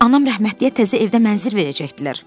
Anam rəhmətliyə təzə evdə mənzil verəcəkdilər.